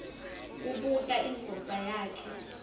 kubuta indvodza yakhe